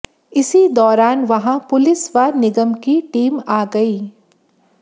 इसी दौरान वहां पुलिस व निगम की टीम आ गई